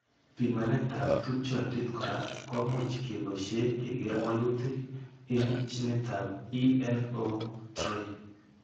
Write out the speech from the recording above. Pimanetab tupchondit kora komuch keboishe keker walutik eng' ginitab ENO3.